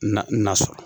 Na sɔrɔ